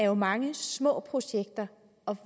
jo mange små projekter og